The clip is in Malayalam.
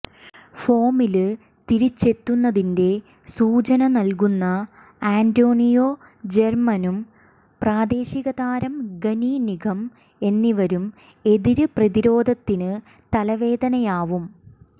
ഫോമില് തിരിച്ചെത്തുന്നതിന്റെ സൂചന നല്കുന്ന അന്റോണിയോ ജര്മനും പ്രാദേശികതാരം ഗനി നിഗം എന്നിവരും എതിര് പ്രതിരോധത്തിന് തലവേദനയാവും